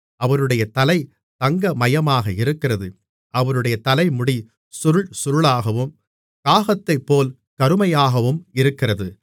அவருடைய தலை தங்கமயமாக இருக்கிறது அவருடைய தலைமுடி சுருள் சுருளாகவும் காகத்தைப்போல் கருமையாகவும் இருக்கிறது